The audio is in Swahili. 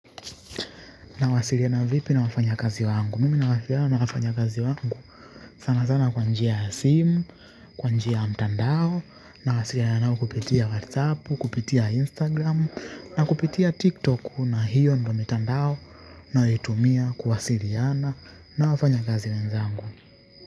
Nawasiliana vipi na wafanya kazi wangu. Mimi nawasiliana na wafanyikazi wangu sana sana kwa njia ya simu, kwa njia ya mtandao. Nawasiliana nao kupitia whatsappu, kupitia instagram. Na kupitia tiktok na hiyo ndo mitandao. Nayotumia kuwasiliana na wafanya kazi wenzangu.